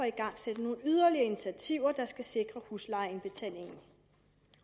igangsætte nogle yderligere initiativer der skal sikre huslejeindbetalingen